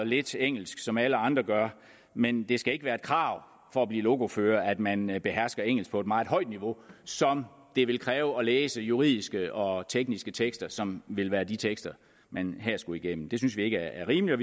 lidt engelsk som alle andre gør men det skal ikke være et krav for at blive lokofører at man behersker engelsk på et meget højt niveau som det vil kræve at læse juridiske og tekniske tekster som vil være de tekster man her skulle igennem det synes vi ikke er rimeligt